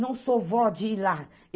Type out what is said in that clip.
Não sou vó de ir lá.